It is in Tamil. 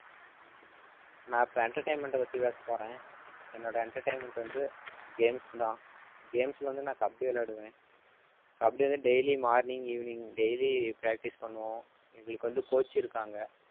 நான் இப்ப entertainment அ பத்தி பேச போறேன். என்னோட entertainment வந்து games தான் games ல வந்து நான் கபடி விளையாடுவேன். கபடி வந்து daily morning evening daily practice பண்ணுவோம் எங்களுக்கு வந்து coach இருக்காங்க